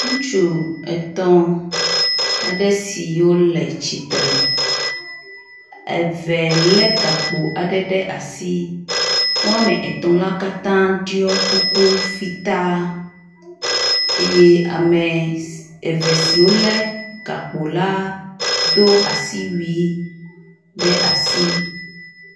Ŋutsu etɔ̃ aɖe siwo le tsitre. Eve lé gakpo aɖe ɖe asi woame etɔ̃ la katã ɖɔi kuku fitaa eye ame eve siwo lé gakpo la do asiwui ɖe asi.